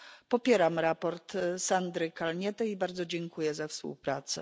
Popieram raport Sandry Kalniete i bardzo dziękuję za współpracę.